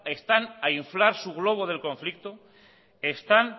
están a inflar su globo del conflicto están